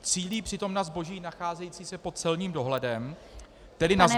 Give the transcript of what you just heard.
Cílí přitom na zboží nacházející se pod celním dohledem, tedy na zboží -